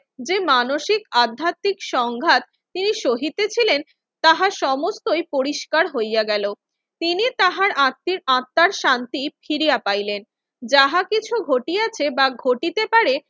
যে মানসিক আধ্যাতিক সংঘাত তিনি সহিতেছিলেন তাহার সমস্তই পরিষ্কার হইয়া গেল। তিনি তাহার আত্মির আত্মার শান্তি ফিরিয়া পাহিলেন। যাহা কিছু ঘটিয়াছে বা ঘটিতে পারে